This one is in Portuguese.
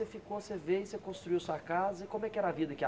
Você ficou, você veio, você construiu sua casa, e como é que era a vida aqui?